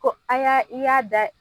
Ko a ya i y'a da.